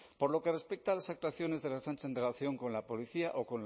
por lo que respecta a las actuaciones de la ertzaintza en relación con la policía o